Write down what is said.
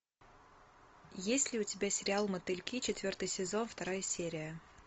есть ли у тебя сериал мотыльки четвертый сезон вторая серия